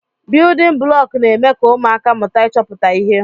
Biyudin bụlọku n'eme ka ụmụaka mụta ịchọpụta ihe.